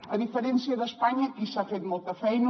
a diferència d’espanya aquí s’ha fet molta feina